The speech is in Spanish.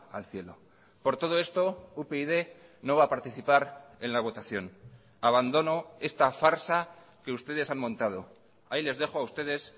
al cielo por todo esto upyd no va a participar en la votación abandono esta farsa que ustedes han montado ahí les dejo a ustedes